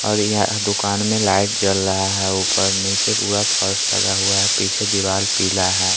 और यहां दुकान में लाइट जल रहा है ऊपर नीचे पूरा फर्स लगा हुआ है पीछे दीवार पीला है।